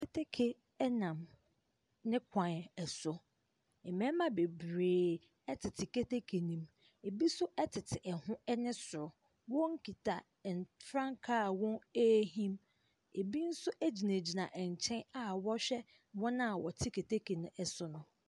Keteke ɛnam ne kwan ɛso. Mmɛɛma bebree ɛtete keteke nem. Ɛbi so ɛtete ɛho ɛne soro. Wɔn kita frankaa a wɔn ɛɛhim. Ɛbi nso ɛgyinaguina ɛnkyɛn a wɔɔhwɛ wɔn a ɛte keteke no ɛso no.